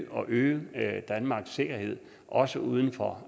og øge danmarks sikkerhed også uden for